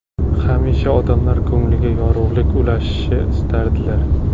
Hamisha odamlar ko‘ngliga yorug‘lik ulashishni istardilar.